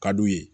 Ka d'u ye